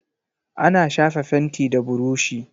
Ana shafa fenti da burushi.